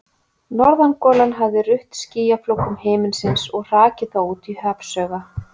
Norðangolan hafði rutt skýjaflókum himinsins og hrakið þá út í hafsauga.